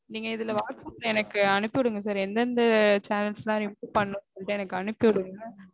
நீங்க இதுல whatsapp ல எனக்கு அனுப்பி விடுங்க sir எந்தெந்த channels லாம் remove பண்ணனும்னு சொல்லிட்டு எனக்கு அனுப்பிவிடுங்க